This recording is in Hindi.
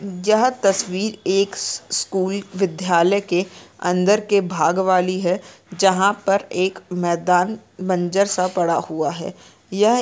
यह तस्वीर एक स्कूल विद्यालय के अंदर के भाग वाली है जहाँ पर एक मैदान बंजर सा पड़ा हुआ है यह--